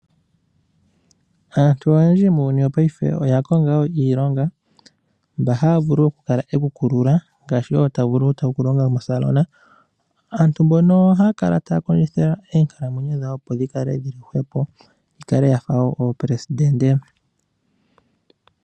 Aantu oyendji muuyuni wopaife, oya konga iilonga, mpa haya vulu okukala yekukulula, ngaashi okukala taya longo moosalona. Aantu mboka ohaya kala taya kondjitha, opo oonkalamwenyo dha wo dhi kale dhi li hwepo, dha fa dhoopelesidente.